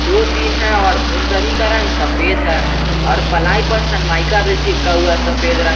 दो तीन है और उन सभी का रंग सफेद है और प्लाई पर सनमाइका भी चिपका हुआ है सफेद रंग--